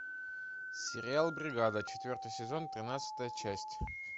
сериал бригада четвертый сезон тринадцатая часть